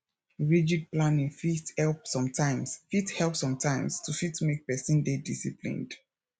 rigid planning fit help sometimes fit help sometimes to fit make person dey disciplined